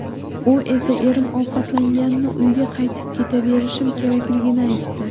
U esa erim ovqatlanganini, uyga qaytib ketaverishim kerakligini aytdi.